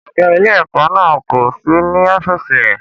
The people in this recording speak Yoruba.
Ọ̀gá ilé-ẹ̀kọ́ náà kò sí ní ọ́fíìsì rẹ̀.